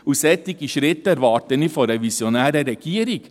Solche Schritte erwarte ich von einer visionären Regierung.